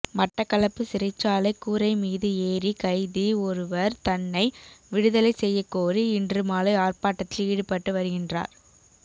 மட்டக்களப்பு சிறைச்சாலை கூரை மீது ஏறி கைதி ஒருவர் தன்னை விடுதலை செய்யக்கோரி இன்று மாலை ஆர்ப்பாட்டத்தில் ஈடுபட்டு வருகின்றார்